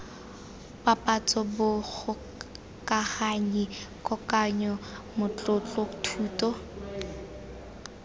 papatso bogokaganyi kokoanyo matlotlo thuto